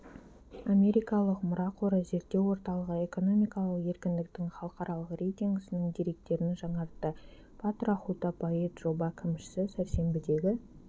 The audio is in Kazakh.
америкалық мұра қоры зерттеу орталығы экономикалық еркіндіктің халықаралық рейтингісінің деректерін жаңартты патра хутапает жоба кімшісі сәрсенбідегі